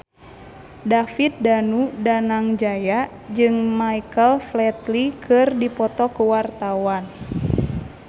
David Danu Danangjaya jeung Michael Flatley keur dipoto ku wartawan